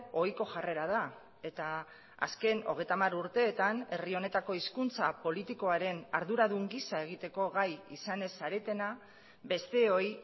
ohiko jarrera da eta azken hogeita hamar urteetan herri honetako hizkuntza politikoaren arduradun gisa egiteko gai izan ez zaretena besteoi